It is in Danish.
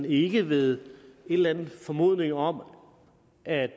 ikke ved en eller anden formodning om at